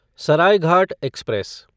Saraighat express